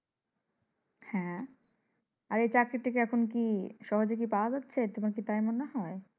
হ্যাঁ। আর এই চাকরিটা কি এখন কি সহজে পাওয়া যাচ্ছে তোমার কি তাই মনে হয়?